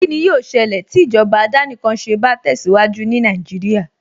Kíni yóó ṣẹlẹ̀ tí ìjọba àdánìkanṣe bá tẹ̀síwájú ní Nàìjíríà